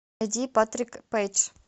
найди патрик пэйдж